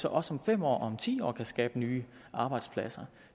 også om fem år og ti år kan skabe nye arbejdspladser